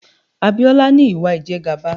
Abiola ní Ìwà ìjẹgàba.